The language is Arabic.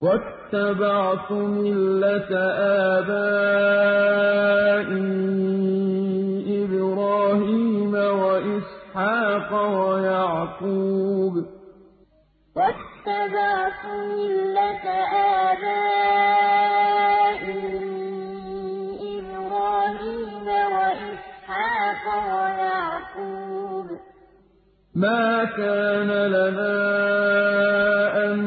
وَاتَّبَعْتُ مِلَّةَ آبَائِي إِبْرَاهِيمَ وَإِسْحَاقَ وَيَعْقُوبَ ۚ مَا كَانَ لَنَا أَن